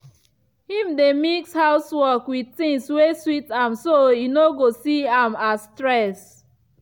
him dey mix housework with things wey sweet am so e no go see am as stress.